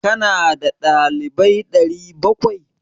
Ka na da dalibai 700?